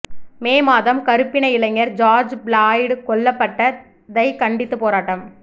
மே மாதம் கருப்பின இளைஞர் ஜார்ஜ் பிளாய்டு கொல்லப்பட்டதை கண்டித்து போராட்டம்